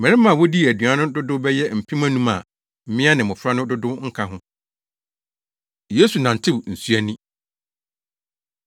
Mmarima a wodii aduan no dodow bɛyɛ mpem anum a mmea ne mmofra no dodow nka ho. Yesu Nantew Nsu Ani